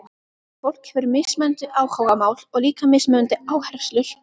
Fólk hefur mismunandi áhugamál og líka mismunandi áherslur.